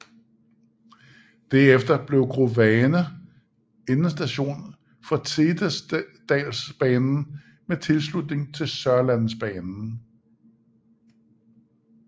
Derefter blev Grovane endestation for Setesdalsbanen med tilslutning til Sørlandsbanen